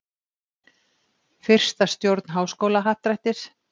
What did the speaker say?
Fyrsta stjórn Háskólahappdrættis.